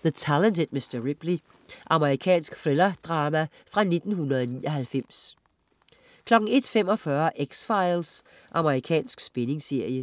The Talented Mr. Ripley. Amerikansk thrillerdrama fra 1999 01.45 X-Files. Amerikansk spændingsserie